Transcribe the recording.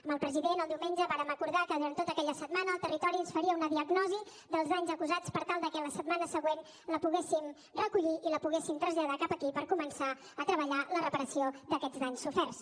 amb el president el diumenge vàrem acordar que durant tota aquella setmana el territori ens faria una diagnosi dels danys acusats per tal que la setmana següent la poguéssim recollir i la poguéssim traslladar cap aquí per començar a treballar la reparació d’aquests danys soferts